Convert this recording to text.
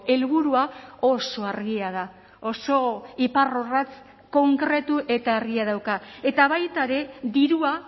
helburua oso argia da oso iparrorratz konkretu eta argia dauka eta baita ere dirua